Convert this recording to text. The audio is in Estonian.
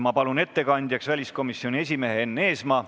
Ma palun ettekandjaks väliskomisjoni esimehe Enn Eesmaa.